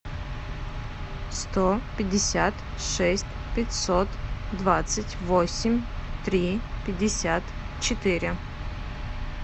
сто пятьдесят шесть пятьсот двадцать восемь три пятьдесят четыре